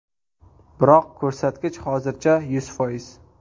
Biroq ko‘rsatkich hozircha yuz foiz.